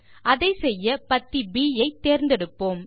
அதை செய்ய பத்தி ப் ஐ தேர்ந்தெடுப்போம்